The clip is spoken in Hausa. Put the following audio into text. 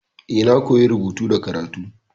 Eh, na koya rubutu da karatu.